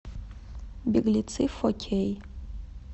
беглецы фо кей